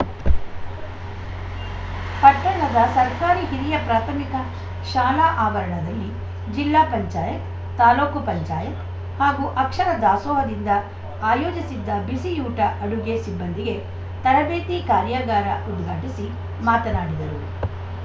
ಪಟ್ಟಣದ ಸರ್ಕಾರಿ ಹಿರಿಯ ಪ್ರಾಥಮಿಕ ಶಾಲಾ ಆವರಣದಲ್ಲಿ ಜಿಲ್ಲಾ ಪಂಚಾಯತ್ ತಾಲೂಕು ಪಂಚಾಯತ್ ಹಾಗೂ ಅಕ್ಷರ ದಾಸೋಹದಿಂದ ಆಯೋಜಿಸಿದ್ದ ಬಿಸಿಯೂಟ ಅಡುಗೆ ಸಿಬ್ಬಂದಿಗೆ ತರಬೇತಿ ಕಾರ್ಯಾಗಾರ ಉದ್ಘಾಟಿಸಿ ಮಾತನಾಡಿದರು